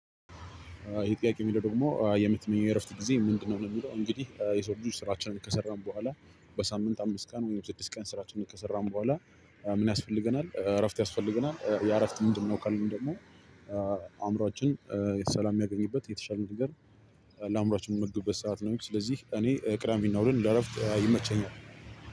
ይሄ ጥያቄ የሚለው ደግሞ የምትመኘው የእረፍት ጊዜ ምንድነው ነው? የሚለው እንግዲህ የሰው ልጆች ስራችንን ከሰራን በኋላ በሳምንት አምስት ቀን ወይም ስድስት ቀን ስራችንን ከሰራን በኋላ ምን ያስፈልገናል እረፍት ያስፈልገናል ያ እረፍት ምንድነው? ካልን ደግሞ አእምሮአችን ሰላም የሚያገኝበት የተሻለ ነገር ለአእምሮአችን የምንመግብበት ሰዓት ነው። ስለዚህ እኔ ቅዳሜና እሁድን ለእረፍት ይመቸኛል።